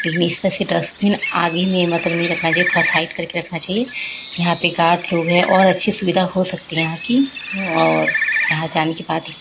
लेकिन इसमें से डस्टबिन आगे में मतलब नही रखना चाहिए थोडा साइड करके रखना चाहिए। यहाँ पे एक आठ लोग हैं और अच्छी सुविधा हो सकती है यहाँ की और यहाँ जाने के बाद ही प --